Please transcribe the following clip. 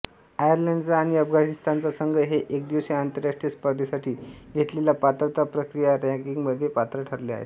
आयर्लंडचा आणि अफगाणिस्तानचा संघ हे एकदिवसीय आंतरराष्ट्रीय स्पर्धेसाठी घेतलेल्या पात्रता प्रक्रिया रँकिंगमध्ये पात्र ठरले आहेत